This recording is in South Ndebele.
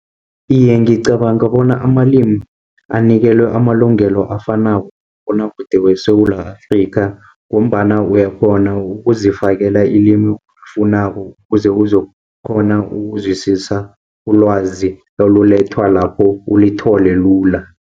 Iye, ngicabanga bona amalimi anikelwe amalungelo afanako kumabonwakude weSewula Afrikha, ngombana uyakghona ukuzifakela ilimi olifunako ukuze uzokukghona ukuzwisisa ulwazi olulethwa lapho ulithole lula.